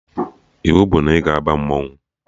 Iwu bụ na ị ga-aba mmanwụ